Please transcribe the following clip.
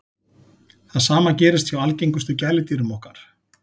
það sama gerist hjá algengustu gæludýrum okkar